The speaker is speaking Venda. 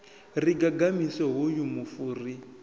ri gagamise hoyu mufu ri